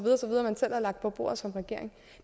har lagt på bordet som regering